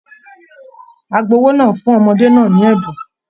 Agbowó náà fún ọmọdé náà ní ẹbùn